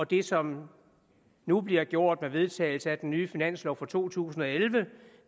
det som nu bliver gjort med vedtagelse af den nye finanslov for to tusind og elleve